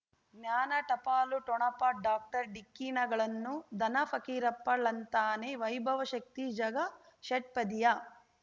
ಜ್ಞಾನ ಟಪಾಲು ಠೊಣಪ ಡಾಕ್ಟರ್ ಢಿಕ್ಕಿ ಣಗಳನು ಧನ ಫಕೀರಪ್ಪ ಳಂತಾನೆ ವೈಭವ್ ಶಕ್ತಿ ಝಗಾ ಷಟ್ಪದಿಯ